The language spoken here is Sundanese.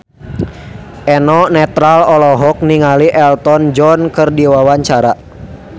Eno Netral olohok ningali Elton John keur diwawancara